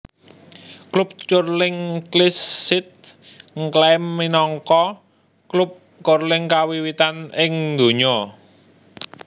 Klub Curling Kilsyth ngklaim minangka klub curling kawiwitan ing donya